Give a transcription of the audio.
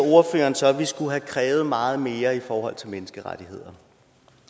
så at vi skulle have krævet meget mere i forhold til menneskerettighederne